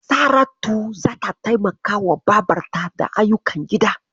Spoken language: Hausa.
Saratu zata taimakawa babarta da ayyukan gida.